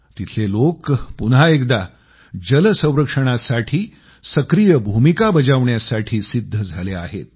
तिथले लोक पुन्हा एकदा जल संरक्षणासाठी सक्रिय भूमिका बजावण्यासाठी सिद्ध झाले आहेत